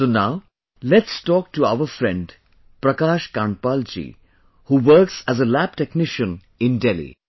So now let's talk to our friend Prakash Kandpal ji who works as a lab technician in Delhi